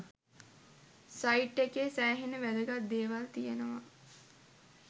site එකේ සෑහෙන්න වැදගත් දේවල් තියෙනවා